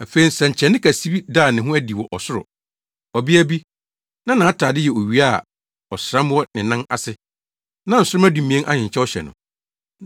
Afei nsɛnkyerɛnne kɛse bi daa ne ho adi wɔ ɔsoro. Ɔbea bi, na nʼatade yɛ owia a ɔsram wɔ ne nan ase, na nsoromma dumien ahenkyɛw hyɛ no.